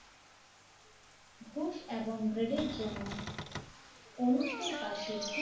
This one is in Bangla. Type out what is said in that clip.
ঘুষ এবং গ্রেডের জন্য অনুষ্ঠির কাছে ঘুষ